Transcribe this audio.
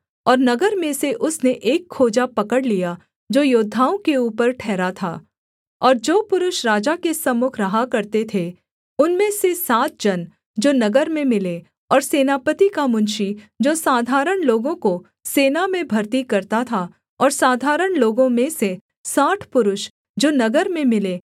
और नगर में से उसने एक खोजा पकड़ लिया जो योद्धाओं के ऊपर ठहरा था और जो पुरुष राजा के सम्मुख रहा करते थे उनमें से सात जन जो नगर में मिले और सेनापति का मुंशी जो साधारण लोगों को सेना में भरती करता था और साधारण लोगों में से साठ पुरुष जो नगर में मिले